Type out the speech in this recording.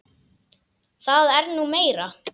Það er nú meira.